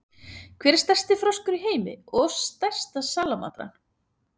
Hver er stærsti froskur í heimi og stærsta salamandran?